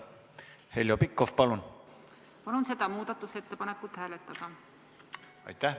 Heljo Pikhof, palun!